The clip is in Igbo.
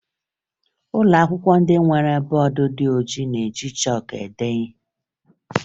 Ụlọakwụkwọ ndị nke nwere bọọdụ ndị ojii na-eji chọọkụ ede ihe